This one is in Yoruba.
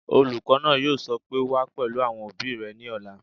Olùkọ́ náà yóò sọ pé "wá pẹ̀lú àwọn òbí rẹ ní ọ̀la!"